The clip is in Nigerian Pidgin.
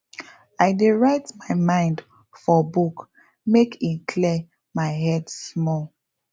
i dey write my mind for book make e clear my head small